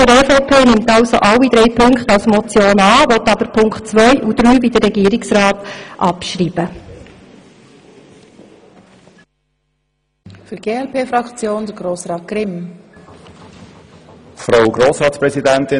Die Fraktion der EVP nimmt also alle drei Punkte als Motion an, will aber wie der Regierungsrat die Punkte 2 und 3 abschreiben.